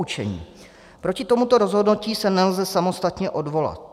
Poučení: Proti tomuto rozhodnutí se nelze samostatně odvolat.